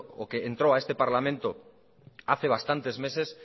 o que entró a este parlamento hace bastantes meses